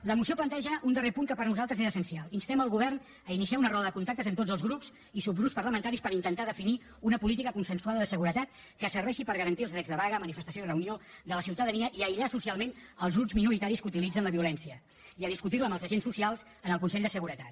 la moció planteja un darrer punt que per nosaltres era essencial instem el govern a iniciar una roda de contactes amb tots els grups i subgrups parlamentaris per intentar definir una política consensuada de seguretat que serveixi per garantir els drets de vaga manifestació i reunió de la ciutadania i aïllar socialment els grups minoritaris que utilitzen la violència i a discutir la amb els agents socials en el consell de seguretat